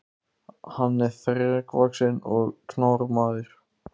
Hann var þrekvaxinn og knár maður.